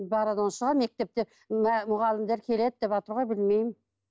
баратын шығар мектепте мұғалімдер келеді деватыр ғой білмеймін